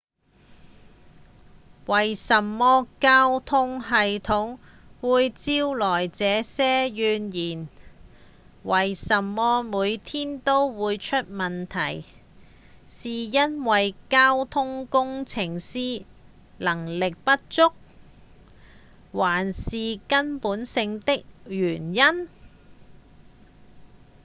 為什麼交通系統會招來這些怨言為什麼每天都會出問題？是因為交通工程師能力不足？還是有更根本性的原因？